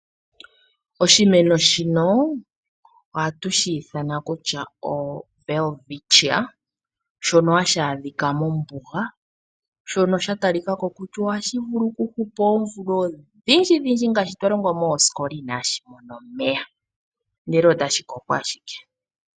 Oshimeno shino ohatu shi ithana kutya oWelwitcia shonohashi adhika mombuga shono sha talikako kutya ohashi vulu okuhupa oomvula odhindji ngaashi twa longwa moosikola inaashi mona omeaya ihe otashi koko owala.